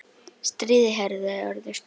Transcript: Stríðið hefði orðið stutt.